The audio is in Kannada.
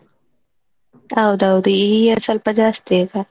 ಹೌದೌದು ಈ years ಸ್ವಲ್ಪ ಜಾಸ್ತಿ ಆಯ್ತ.